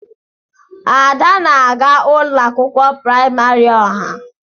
Ada na aga ụlọ akwụkwọ praịmarị ọha.